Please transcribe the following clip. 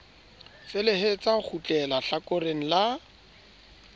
felehetsa ho kgutleha hlakoreng la